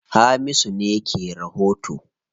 Hamisu ne ke rahoto.